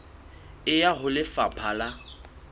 e ya ho lefapha la